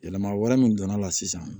Yɛlɛma wɛrɛ min donna la sisan